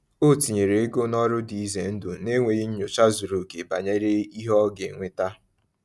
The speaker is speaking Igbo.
O tinyere ego n’ọrụ dị ize ndụ n’enweghị nyocha zuru oke banyere ihe ọ ga-eweta.